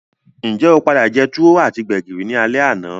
Njé o padà je tuwo ati gbẹ̀gìrì ni alé àná?